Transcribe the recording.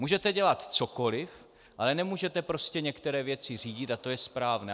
Můžete dělat cokoliv, ale nemůžete prostě některé věci řídit a to je správné.